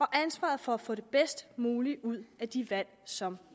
ansvaret for at få det bedst mulige ud af de valg som